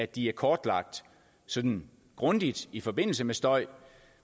de er kortlagt sådan grundigt i forbindelse med støj